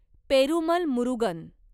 Perumal Murugan